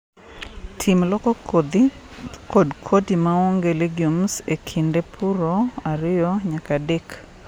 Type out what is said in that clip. Tim loko kodhi kod kodi maonge legumes e kinde purro ariyo nyaka adek.